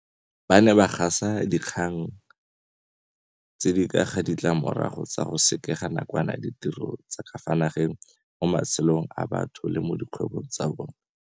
Ba ne ba gasa dinkgang tse di ka ga ditlamorago tsa go sekega nakwana ditiro tsa ka fa nageng mo matshelong a batho le mo dikgwebong tsa bona.